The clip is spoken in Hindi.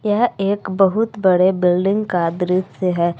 यह एक बहुत बड़े बिल्डिंग का दृश्य है।